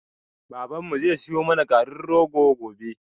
Babanmu zai siyo mana garin rogo gobe